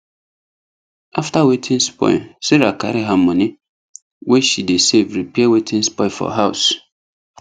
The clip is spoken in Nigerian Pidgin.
after wetin spoil sarah carry her money wey she dey save repair wetin spoil for house